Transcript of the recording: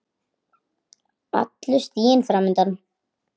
Allur stiginn fram undan.